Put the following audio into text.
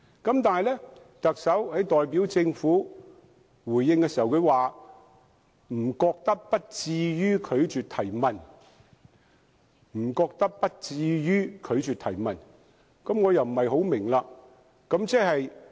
可是，特首代表政府回應時表示，他覺得不至於拒絕提問，我對此又不大明白。